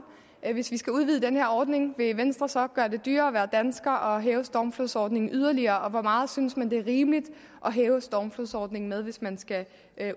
hvis vi skal udvide den her ordning vil venstre så gøre det dyrere at være dansker og hæve stormflodsordningen yderligere og hvor meget synes man det er rimeligt at hæve stormflodsordningen med hvis man skal